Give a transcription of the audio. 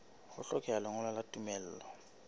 ho hlokeha lengolo la tumello